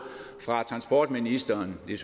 fra transportministeren det er